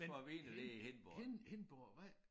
Men hind hind Hindborgvej